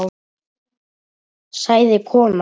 sagði konan.